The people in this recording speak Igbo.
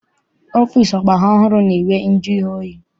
Ọfịịsi ọgbara ọhụrụ na-enwe njụoyi.